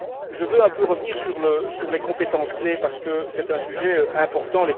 Je veux un peu revenir sur les compétences clés parce que c'est un sujet important.